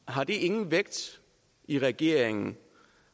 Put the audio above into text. har det ingen vægt i regeringen